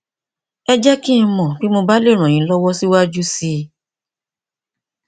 ẹ jẹ kí n mọ bí mo bá lè ràn yín lọwọ síwájú sí i